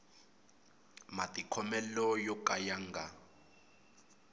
matikhomele yo ka ya nga